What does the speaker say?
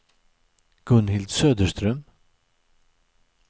Gunhild Söderström